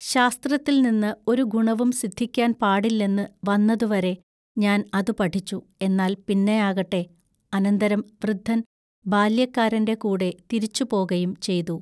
ശാസ്ത്രത്തിൽനിന്ന് ഒരു ഗുണവും സിദ്ധിക്കാൻ പാടില്ലെന്ന് വന്നതുവരെ ഞാൻ അതു പഠിച്ചു എന്നാൽ പിന്നയാകട്ടെ അനന്തരം വൃദ്ധൻ ബാല്യക്കാരന്റെ കൂടെ തിരിച്ചുപോകയും ചെയ്തു.